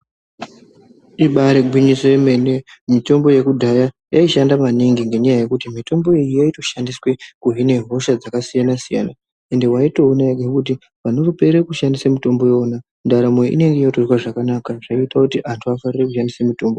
Ibari gwinyiso yemene. Mitombo yekudhaya yaishanda maningi ngenyaya yekuti mitombo iyi yaitoshandiswe kuhine hosha dzakasiyana siyana, ende waitoona wega kuti panopere kushandise mutombo ndaramo inenge yotofamba zvakanaka zvaiita kuti antu afarire kushandisa mitombo.